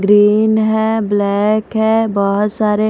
green है black है बहुत सारे--